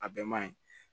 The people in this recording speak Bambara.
A bɛɛ man ɲi